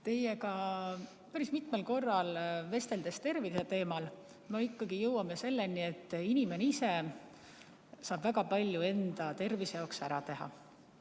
Teiega päris mitmel korral terviseteemal vesteldes oleme ikkagi jõudnud selleni, et inimene ise saab väga palju enda tervise jaoks ära teha.